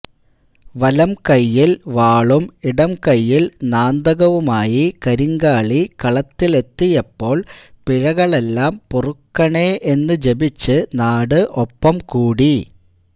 വലംകൈയ്യില് വാളും ഇടം കൈയ്യില് നാന്തകവുമായി കരിങ്കാളി കളത്തിലെത്തിയപ്പോള് പിഴകളെല്ലാം പൊറുക്കണെ എന്നുജപിച്ച് നാട് ഒപ്പം കൂടി